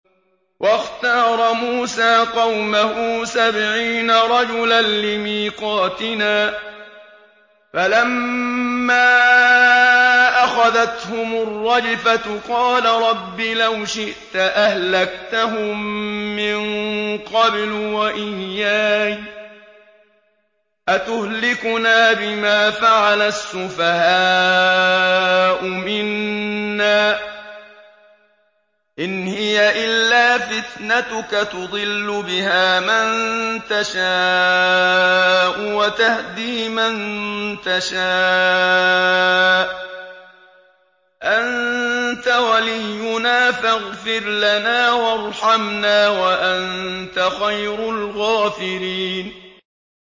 وَاخْتَارَ مُوسَىٰ قَوْمَهُ سَبْعِينَ رَجُلًا لِّمِيقَاتِنَا ۖ فَلَمَّا أَخَذَتْهُمُ الرَّجْفَةُ قَالَ رَبِّ لَوْ شِئْتَ أَهْلَكْتَهُم مِّن قَبْلُ وَإِيَّايَ ۖ أَتُهْلِكُنَا بِمَا فَعَلَ السُّفَهَاءُ مِنَّا ۖ إِنْ هِيَ إِلَّا فِتْنَتُكَ تُضِلُّ بِهَا مَن تَشَاءُ وَتَهْدِي مَن تَشَاءُ ۖ أَنتَ وَلِيُّنَا فَاغْفِرْ لَنَا وَارْحَمْنَا ۖ وَأَنتَ خَيْرُ الْغَافِرِينَ